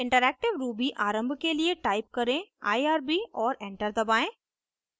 interactive ruby आरम्भ के लिए टाइप करें irb और एंटर दबाएं